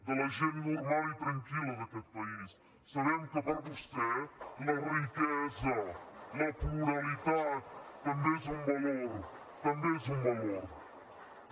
de la gent normal i tranquil·la d’aquest país sabem que per vostè la riquesa la pluralitat també és un valor també és un valor també